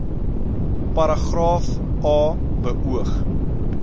paragraaf a beoog